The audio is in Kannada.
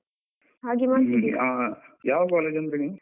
ಯಾವ college ಅಂದ್ರಿ ನೀವು?